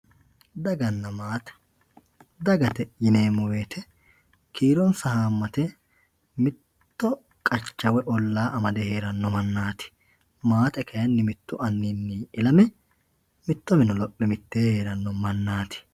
Daaganna maatte daagatte yinemo wooyite kiironsa haamatte mitto qacha woyyi olla amadde heeranno maanatti maatte kaayinni mittu anninni illamme mitto minne loophe mitenni heeranno manatti